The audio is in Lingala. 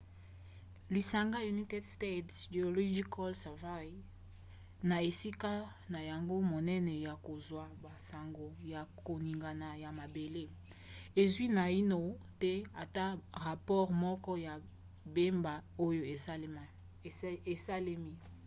lisanga united states geological survey usgs na esika na yango monene ya kozwa basango ya koningana ya mabele ezwi naino te ata rapore moko ya mbeba oyo esalemi